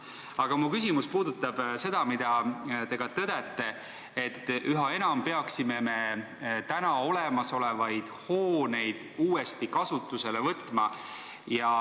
Aga mu küsimus puudutab seda, mida te ka tõdete, et üha enam peaksime me olemasolevaid hooneid uuesti kasutusele võtma.